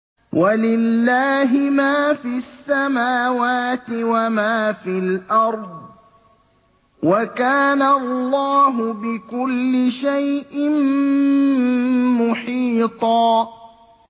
وَلِلَّهِ مَا فِي السَّمَاوَاتِ وَمَا فِي الْأَرْضِ ۚ وَكَانَ اللَّهُ بِكُلِّ شَيْءٍ مُّحِيطًا